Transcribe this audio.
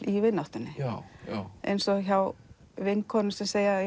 í vináttunni eins og hjá vinkonum sem segja